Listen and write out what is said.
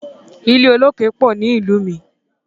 Ilẹ̀ olókè pọ̀ ni ìlú mi.